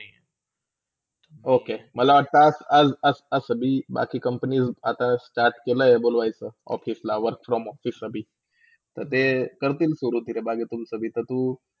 okay माला वाटता अ अ अ कभी बाकी company आता start केला आहे बोलवायचा office ला work from Office साठी तरते करतील सुरू बाकी तुमचा कधी तू. `